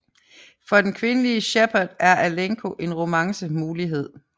For den kvindelige Shepard er Alenko en romance mulighed